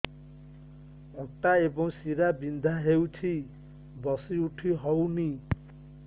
ଅଣ୍ଟା ଏବଂ ଶୀରା ବିନ୍ଧା ହେଉଛି ବସି ଉଠି ହଉନି